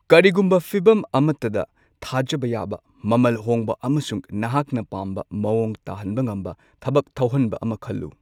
ꯀꯔꯤꯒꯨꯝꯕ ꯐꯤꯚꯝ ꯑꯃꯠꯇꯗ, ꯊꯥꯖꯕ ꯌꯥꯕ, ꯃꯃꯜ ꯍꯣꯡꯕ ꯑꯃꯁꯨꯡ ꯅꯍꯥꯛꯅ ꯄꯥꯝꯕ ꯃꯥꯑꯣꯡ ꯇꯥꯍꯟꯕ ꯉꯝꯕ ꯊꯕꯛ ꯊꯧꯍꯟꯕ ꯑꯃ ꯈꯜꯂꯨ꯫